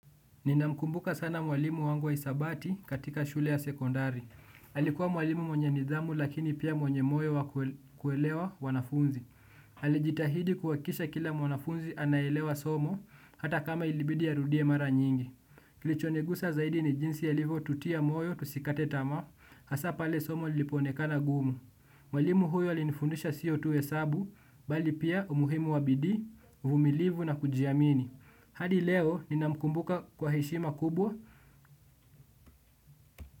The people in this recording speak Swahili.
Ninamkumbuka sana mwalimu wangu wa hisabati katika shule ya sekondari. Alikuwa mwalimu mwenye nidhamu lakini pia mwenye moyo wa kuelewa wanafunzi. Alijitahidi kuhakikisha kila mwanafunzi anaelewa somo hata kama ilibidi arudie mara nyingi. Kilichonigusa zaidi ni jinsi alivyo tutia moyo tusikate tamaa hasa pale somo lipo onekana gumu. Mwalimu huyo alinifundisha siyo tu hesabu bali pia umuhimu wa bidii vumilivu na kujiamini. Hadi leo ninamkumbuka kwa heshima kubwa.